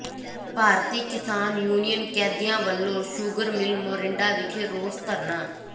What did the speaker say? ਭਾਰਤੀ Kisan union Qadian ਵਲੋਂ sugar mill Morinda ਵਿਖੇ ਰੋਸ ਧਰਨਾ